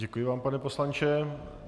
Děkuji vám, pane poslanče.